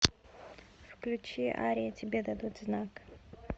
включи ария тебе дадут знак